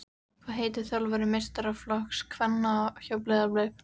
Hvað heitir þjálfari meistaraflokks kvenna hjá Breiðablik?